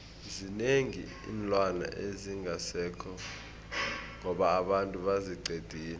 zinengi iinlwana ezingasekho ngoba abantu baziqedile